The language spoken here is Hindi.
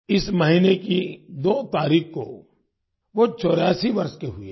इस महीने की 2 तारीख को वो 84 वर्ष के हुए हैं